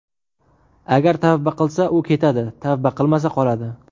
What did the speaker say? Agar tavba qilsa u ketadi, tavba qilmasa qoladi.